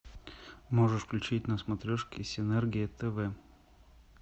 можешь включить на смотрешке синергия тв